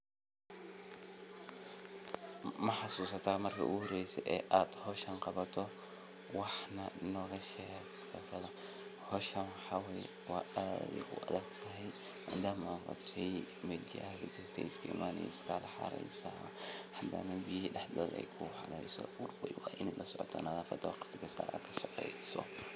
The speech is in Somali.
Howshaan waxa waye aad ayey uaadagtahay madama ey meel walbo somari oo xaar iyo wax ey dulmari wa ina marwalbo kawarheyso.